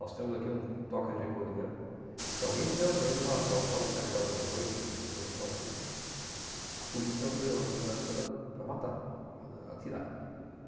Nós temos aqui um, um toque de recolher, se alguém estiver andando na rua após as sete horas da noite ou oito horas, coisa assim, a polícia tem autori, autoridade para dar, para matar, para atirar.